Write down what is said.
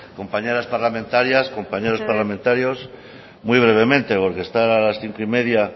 compañeras parlamentarias compañeros parlamentarios muy brevemente porque estar a las cinco y media